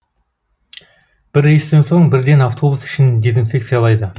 бір рейстен соң бірден автобус ішін дезинфекциялайды